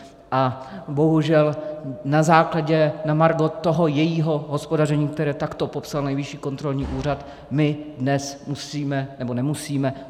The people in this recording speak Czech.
A bohužel na základě, na margo toho jejího hospodaření, které takto popsal Nejvyšší kontrolní úřad, my dnes musíme - nebo nemusíme.